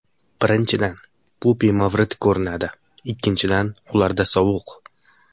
Birinchidan, bu bemavrid ko‘rinadi, ikkinchidan, ularda sovuq.